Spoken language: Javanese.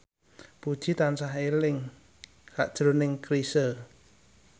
Puji tansah eling sakjroning Chrisye